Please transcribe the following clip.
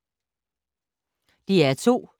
DR2